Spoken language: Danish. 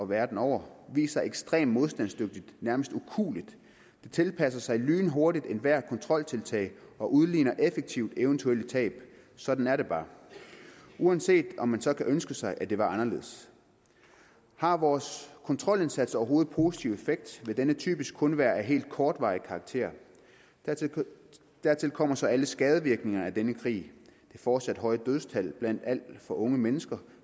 verden over vist sig ekstremt modstandsdygtigt nærmest ukueligt det tilpasser sig lynhurtigt ethvert kontroltiltag og udligner effektivt eventuelle tab sådan er det bare uanset om man så kunne ønske sig at det var anderledes har vores kontrolindsats overhovedet positiv effekt vil denne typisk kun være af helt kortvarig karakter dertil kommer så alle skadevirkningerne af denne krig fortsat høje dødstal blandt alt for unge mennesker